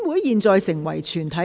現在成為全體委員會。